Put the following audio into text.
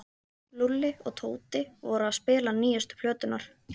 Lúlli og Tóti voru að spila nýjustu plöturnar.